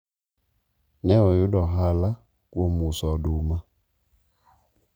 ne oyudo ohala kuom uso oduma